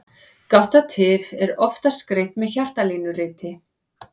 Gáttatif er oftast greint með hjartalínuriti.